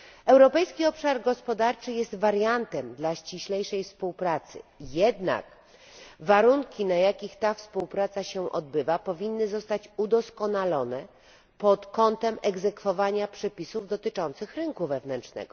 Europejski Obszar Gospodarczy jest wariantem dla ściślejszej współpracy, jednak warunki, na jakich ta współpraca się odbywa powinny zostać udoskonalone pod kątem egzekwowania przepisów dotyczących rynku wewnętrznego.